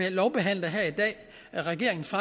at lovbehandle regeringens